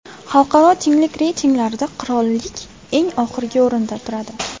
Xalqaro tenglik reytinglarida qirollik eng oxirgi o‘rinlarda turadi.